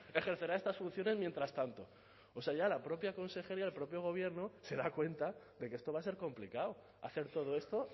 ejercerá estas funciones mientras tanto o sea ya la propia consejería el propio gobierno se da cuenta de que esto va a ser complicado hacer todo esto